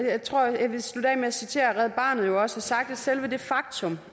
jeg tror jeg vil slutte af med at citere hvad red barnet jo også har sagt nemlig at selve det faktum